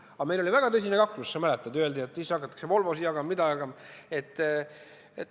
Aga meil oli väga tõsine kaklus, sa mäletad, öeldi, et siis hakatakse Volvosid jagama.